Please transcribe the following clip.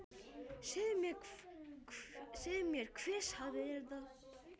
Segðu mér hver sagði þér þetta.